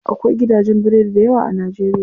Akwai gidajen biredi dayawa a najeriya.